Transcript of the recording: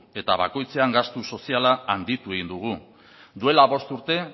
eta bakoitzean gastu soziala handitu egin dugu duela bost urte